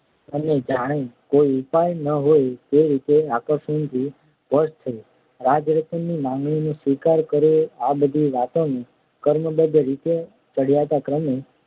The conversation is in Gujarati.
અને જાણે કોઈ ઉપાય ન હોય તે રીતે આકર્ષણથી વશ થઈ રાજરતનની માગણીનો સ્વીકાર કરવો આ બધી વાતોને ક્રમબદ્ધ રીતે અને ચઢિયાતા ક્રમે